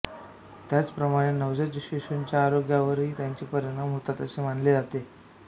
त्याच प्रमाणे नवजात शिशुंच्या आरोग्यावरही याचे परिणाम होतात असे मानले जाते